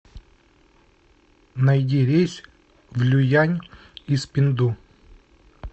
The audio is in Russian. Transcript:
найди рейс в люян из пинду